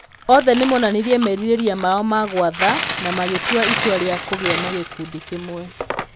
Othe nĩ monanirie merirĩria mao ma gwatha na magĩtua itua rĩa kũgĩa na gĩkundi kĩmwe.